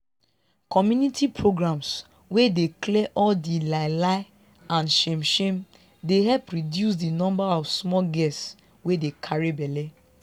community programs wey dey clear all di lie lie and shame shame dey help reduce di number of small girls wey dey carry belle